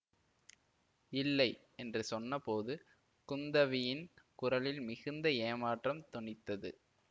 இல்லை என்று சொன்னபோது குந்தவியின் குரலில் மிகுந்த ஏமாற்றம் தொனித்தது